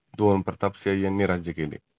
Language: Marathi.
दोन प्रतापसिंह यांनी राज्य केले.